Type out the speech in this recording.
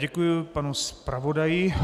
Děkuji panu zpravodaji.